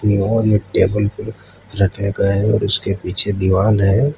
और ये टेबल रखे गए हैं उसके पीछे दीवाल है।